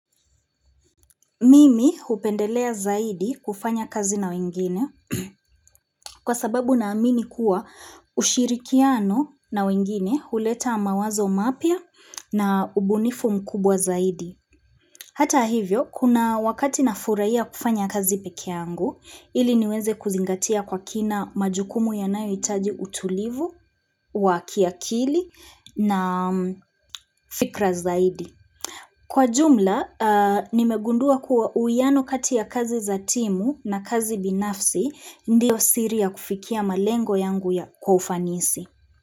Mimi hupendelea zaidi kufanya kazi na wengine kwa sababu na amini kuwa ushirikiano na wengine huleta mawazo mapya na ubunifu mkubwa zaidi. Hata hivyo, kuna wakati na furahia kufanya kazi pekee yangu, ili niweze kuzingatia kwa kina majukumu yanayo hitaji utulivu, wakiakili na fikra zaidi. Kwa jumla, nimegundua kuwa uiano kati ya kazi za timu na kazi binafsi ndiyo siri ya kufikia malengo yangu ya kwa ufanisi.